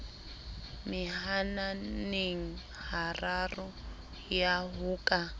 mehananeng hararo ya ho ka